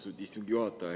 Austatud istungi juhataja!